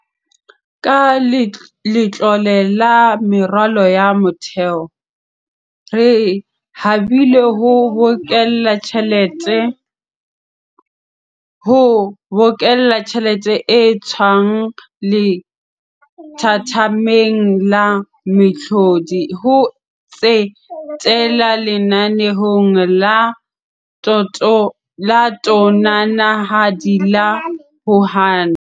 Ka Letlole la Meralo ya Motheo, re habile ho bokella tjhelete e tswang lethathameng la mehlodi, ho tsetela lenaneong la tonanahadi la ho aha.